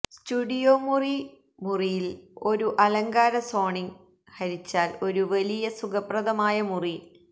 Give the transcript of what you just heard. studio മുറി മുറിയില് ഒരു അലങ്കാര സോണിങ്ങ് ഹരിച്ചാൽ ഒരു വലിയ സുഖപ്രദമായ മുറി